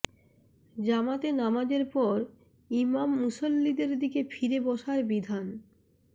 জামাতে নামাজের পর ইমাম মুসল্লিদের দিকে ফিরে বসার বিধান